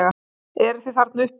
Eruð þið þarna uppi!